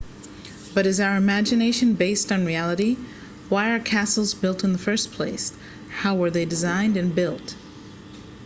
but is our imagination based on reality why were castles built in the first place how were they designed and built